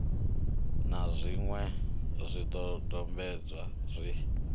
na zwiṅwe zwidodombedzwa zwi tikedzaho